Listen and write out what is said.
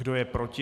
Kdo je proti?